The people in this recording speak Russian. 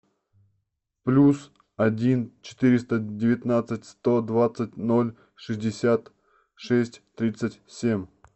плюс один четыреста девятнадцать сто двадцать ноль шестьдесят шесть тридцать семь